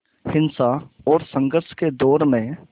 हिंसा और संघर्ष के दौर में